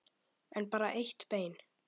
En bara eitt bein.